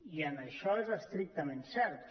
i això és estrictament cert